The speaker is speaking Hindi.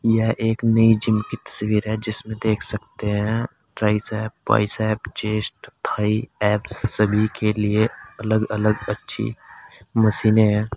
यह एक नई जिम की तस्वीर है जिसमें देख सकते हैं tricep bicep chest thigh abs सभी के लिए अलग अलग अच्छी मशीने हैं।